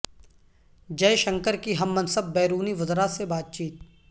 جئے شنکر کی ہم منصب بیرونی وزراء سے بات چیت